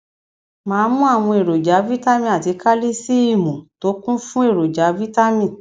máa mu àwọn èròjà vitamin àti kálísìììmù tó kún fún èròjà vitamin